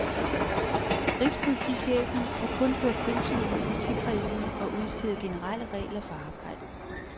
Rigspolitichefen kan kun føre tilsyn med politikredsene og udstede generelle regler for arbejdet.